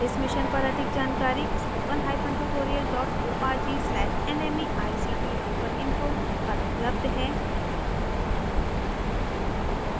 इस mission पर अधिक जानकारी spoken hyphen tutorial dot org slash nmeict hyphen intro पर उपलब्ध है